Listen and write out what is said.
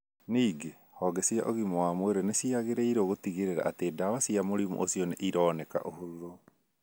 Ningĩ, honge cia ũgima wa mwĩrĩ nĩ ciagĩrĩirũo gũtigĩrĩra atĩ ndawa cia mũrimũ ũcio nĩ ironeka ũhũthũ.